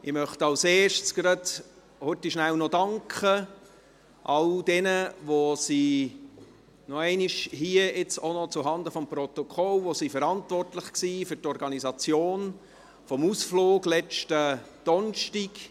Ich möchte zuerst rasch all jenen danken – hier auch noch einmal zuhanden des Protokolls –, die verantwortlich waren für die Organisation des Ausflugs von letztem Donnerstag.